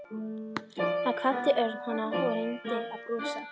Þar kvaddi Örn hana og reyndi að brosa.